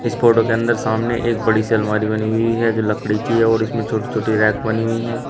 Photo के अंदर सामने एक बड़ी सी अलमारी बनी हुई है जो लकड़ी की है और इसमें छोटे छोटे रैक बनी हुई है।